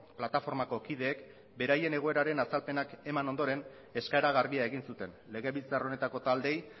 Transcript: plataformako kideek beraien egoeraren azalpenak eman ondoren eskaera garbia egin zuten legebiltzar honetako taldeei